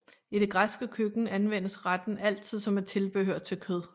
I det græske køkken anvendes retten altid som et tilbehør til kød